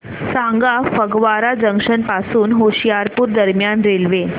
सांगा फगवारा जंक्शन पासून होशियारपुर दरम्यान रेल्वे